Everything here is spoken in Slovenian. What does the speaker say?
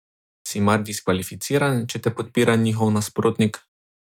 Si mar diskvalificiran, če te podpira njihov nasprotnik?